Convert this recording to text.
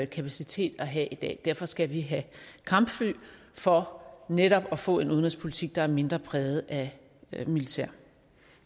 kapacitet at have i dag derfor skal vi have kampfly for netop at få en udenrigspolitik der er mindre præget af militær